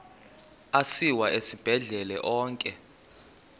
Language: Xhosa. asiwa esibhedlele onke